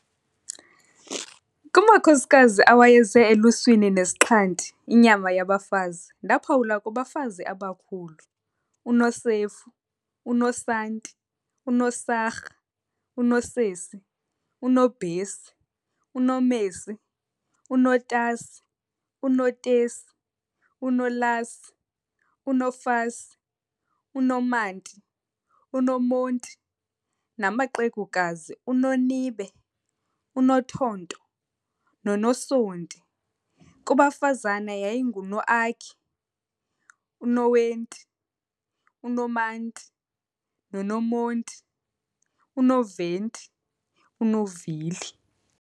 Kumakhosikazi awayeze eluswini nesixhanti, inyama yabafazi, ndaaphawula, kubafazi abakhulu- U"Nosef"u, u"Nosanti", u"Nosarha", u"Nosesi", u"Nobhesi", u"Nomesi", u"Notasi", u"Notesi", u"Nolasi", u"Nofasi", u"Nomanti", u"Nomonti", namaqegukazi- U"Nonibe", u"Nothonto", nono"Sonti". kubafazana yayinguNoaki, u"Noenti", u"Nomanti", u"Nomonti", u"Noventi", u"Novili".